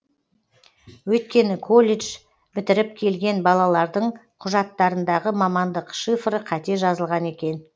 өйткені колледж бітіріп келген балалардың құжаттарындағы мамандық шифры қате жазылған екен